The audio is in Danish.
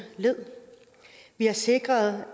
led vi har sikret